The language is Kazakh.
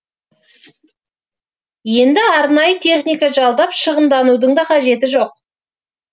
енді арнайы техника жалдап шығынданудың да қажеті жоқ